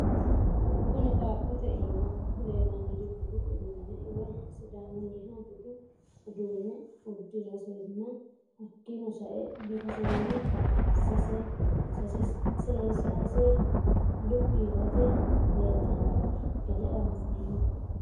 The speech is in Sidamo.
Kuni qaaqote imma leelanori budu udune woyi sidamuniha budu udune udirasena hakino sa'e bifasena sesase lupi yote leelitano gede anfeemo?